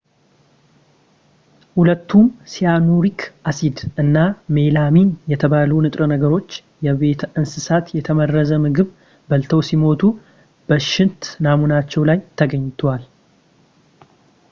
ሁለቱም ሲያኑሪክ አሲድ እና ሜላሚን የተባሉ ንጥረ ነገሮች የቤት እንስሳት የተመረዘ ምግብ በልተው ሲሞቱ በሽንት ናሙናቸው ላይ ተገኝተዋል